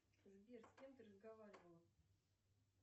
сбер с кем ты разговаривала